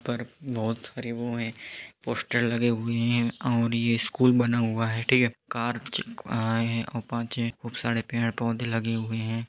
पर बहुत हरे वो है पोस्टर लगे हुए है और ये स्कूल बना हुआ है ठीक है कार आये है पांच छह और बहुत सारे पेड़ पौधे लगे हुए है।